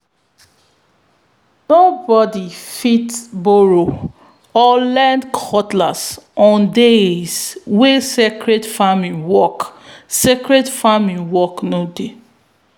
nobody fit borrow or lend cutlass on days wey sacred farming work sacred farming work no dey.